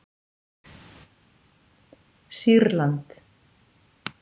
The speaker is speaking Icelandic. Sýrland